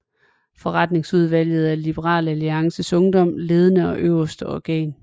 Forretningsudvalget er Liberal Alliances Ungdoms ledende og øverste organ